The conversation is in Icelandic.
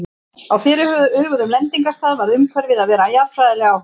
Á fyrirhuguðum lendingarstað varð umhverfið að vera jarðfræðilega áhugavert.